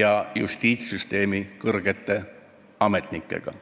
ja justiitssüsteemi kõrge ametnikuga.